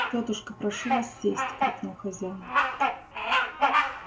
тётушка прошу вас сесть крикнул хозяин